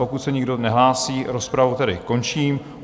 Pokud se nikdo nehlásí, rozpravu tedy končím.